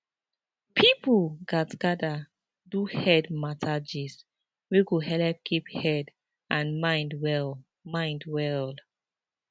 people gatz gather do head matter gist wey go helep keep head and mind well mind well